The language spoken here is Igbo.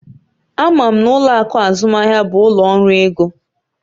Ama m na ụlọ akụ azụmaahịa bụ ụlọ ọrụ ego